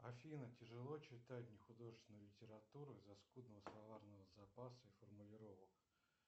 афина тяжело читать нехудожественную литературу из за скудного словарного запаса и формулировок